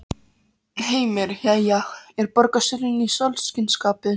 Heimir: Jæja, er borgarstjórinn í sólskinsskapi?